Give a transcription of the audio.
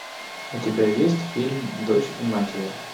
у тебя есть фильм дочь и мать ее